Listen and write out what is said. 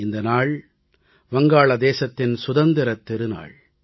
இந்த நாள் தான் வங்காளதேசத்தின் சுதந்திரத் திருநாள்